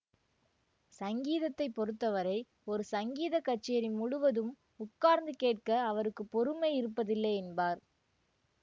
சங்கீதத்தை பொறுத்த வரை ஒரு சங்கீதக் கச்சேரி முழுதும் உட்கார்ந்து கேட்க அவருக்கு பொறுமை இருப்பதில்லை என்பார்